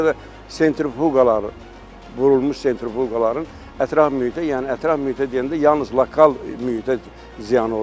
Ona görə də sentruqaların vurulmuş sentruqaların ətraf mühitə, yəni ətraf mühitə deyəndə yalnız lokal mühitə ziyanı ola bilər.